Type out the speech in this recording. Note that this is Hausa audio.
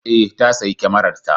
Ee, ta sayi kyamararta.